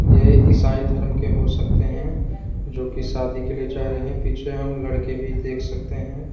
ये ईसाई धर्म के हो सकते हैं जोकि शादी के लिए जा रहे हैं पीछे हम लड़के भी देख सकते हैं।